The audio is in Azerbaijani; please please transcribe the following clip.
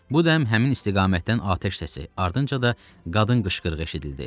Bu dəm həmin istiqamətdən atəş səsi, ardınca da qadın qışqırığı eşidildi.